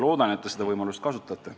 Loodan, et te seda võimalust kasutate.